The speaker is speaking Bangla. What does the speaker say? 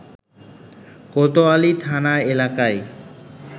কোতোয়ালি থানা এলাকায়